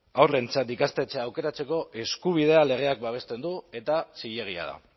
haurrentzat ikastetxea aukeratzeko eskubidea legeak babesten du eta zilegia da